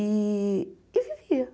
E vivia.